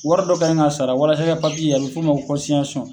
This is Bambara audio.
Wari dɔ ka ɲi ka sara walasa i ka ye a bɛ f'o ma ko